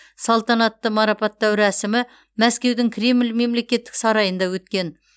салтанатты марапаттау рәсімі мәскеудің кремль мемлекеттік сарайында өткен